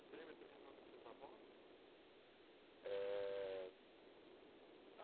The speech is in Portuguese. Você lembra também o nome dos seus avós? Eh